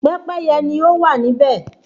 Pẹ́pẹ́yẹ ni ọ wá níbè